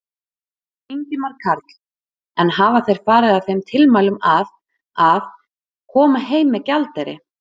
Ingimar Karl: En hafa þeir farið að þeim tilmælum að, að, koma heim með gjaldeyri?